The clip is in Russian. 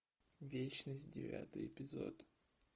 вечность девятый эпизод